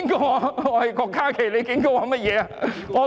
我是郭家麒，你警告我甚麼？